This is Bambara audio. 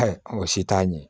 Ayi o si t'a ɲɛ